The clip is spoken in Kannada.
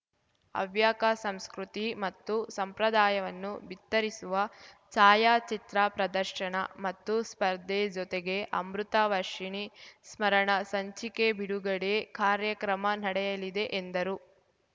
ಹವ್ಯಕ ಸಂಸ್ಕೃತಿ ಮತ್ತು ಸಂಪ್ರದಾಯವನ್ನು ಬಿತ್ತರಿಸುವ ಛಾಯಾಚಿತ್ರ ಪ್ರದರ್ಶನ ಮತ್ತು ಸ್ಪರ್ಧೆ ಜೊತೆಗೆ ಅಮೃತ ವರ್ಷಿಣಿ ಸ್ಮರಣ ಸಂಚಿಕೆ ಬಿಡುಗಡೆ ಕಾರ್ಯಕ್ರಮ ನಡೆಯಲಿದೆ ಎಂದರು